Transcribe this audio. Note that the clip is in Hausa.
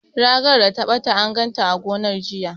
Ragar da ta ɓata, an ganta a gonar, jiya.